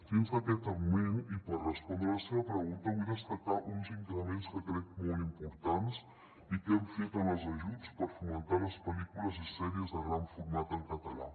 dins d’aquest augment i per respondre a la seva pregunta vull destacar uns increments que crec molt importants i que hem fet en els ajuts per fomentar les pel·lícules i sèries de gran format en català